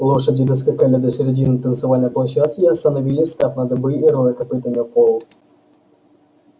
лошади доскакали до середины танцевальной площадки и остановили встав на дыбы и роя копытами пол